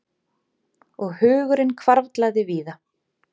Og hugurinn hvarflaði víða.